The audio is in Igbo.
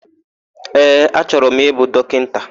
Ee, achọrọ m ịbụ dọkịta.